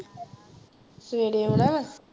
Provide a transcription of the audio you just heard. ਸਵੇਰੇ ਆਉਣਾ ਵਾਂ?